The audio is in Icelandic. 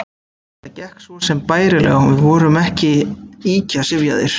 Þetta gekk svo sem bærilega og við vorum ekki ýkja syfjaðir.